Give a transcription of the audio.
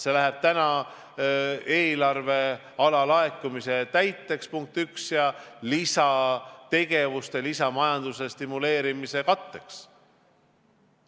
See läheb eelarve alalaekumise katteks, punkt üks, ja lisategevuste, majanduse lisastimuleerimise katteks.